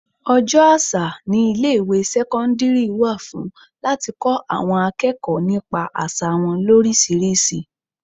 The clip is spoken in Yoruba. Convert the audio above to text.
Ọjọ́ àṣà ní ilé ìwé sẹ́cọ́ndírì wà fún láti kọ́ àwọn akẹ́kọ̀ọ́ nípa àsà wọn lorisirisi.